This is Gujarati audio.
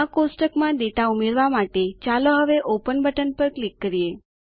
આ કોષ્ટક માં ડેટા ઉમેરવા માટે ચાલો હવે ઓપન પર ક્લિક કરીએ